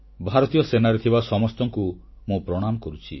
ଭାରତୀୟ ସେନାରେ ଥିବା ସମସ୍ତଙ୍କୁ ମୁଁ ପ୍ରଣାମ କରୁଛି